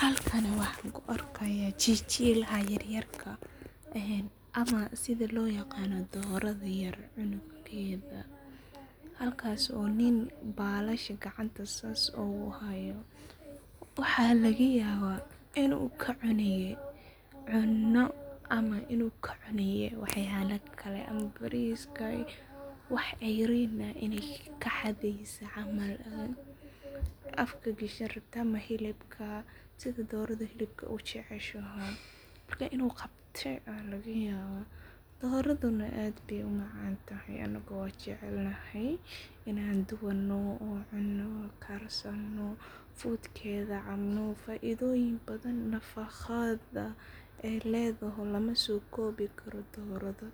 Halkani waxan kuarkaya jiljilaha yaryarka ama sidha loo yaqano doroda yar cunugeda, halkasi oo nin gacanta balasha sas oguhayo, waxa lagayaba inu kacunaye cuno ama waxyabo kale bariska, wax cerinah inay kaxadeyse camal afka gashani rabta, ama hilibka sidaa, dorada hilibka ujeceshoho marka inu qabte aya lagayaba doradu nah aad bay umacantahay anigu wan jeclanahay inan dubano oo aan cuno karsano fudkadha an cabno faidoyin badhan, nafaqada ay ledahahy lamasokobi karo, doradu